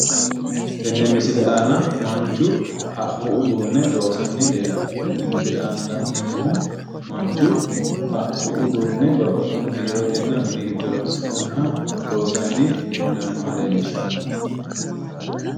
Tenne misile aana manchu haqqu uduunne loosanni leellanno tenne misile aana la'neemmohu manchu haqqu uduunne babbaxxino biirotenna mini giddo horoonsi'nanniha loosanni leellannoha leellishannote